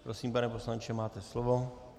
Prosím, pane poslanče, máte slovo.